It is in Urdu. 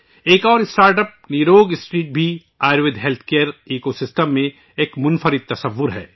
ایک اور اسٹارٹ اپ، نیروگ اسٹریٹ بھی ہے ، آیوروید حفظان صحت نظام میں ایک انوکھا تصور ہے